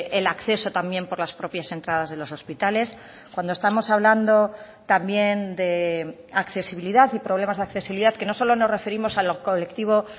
el acceso también por las propias entradas de los hospitales cuando estamos hablando también de accesibilidad y problemas de accesibilidad que no solo nos referimos a los colectivos